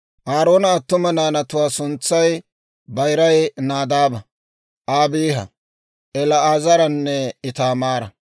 Aaroona attuma naanatuwaa suntsay bayiray Nadaaba, Abiiha, El"aazaranne Itaamaara.